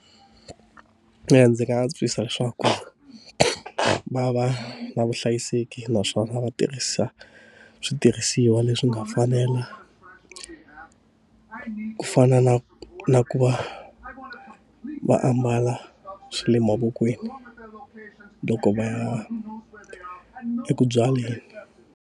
Eya, ndzi nga antswisa leswaku na va vuhlayiseki naswona va tirhisa switirhisiwa leswi nga fanela, ku fana na na ku va va ambala swa le mavokweni loko va ya eku byaleni.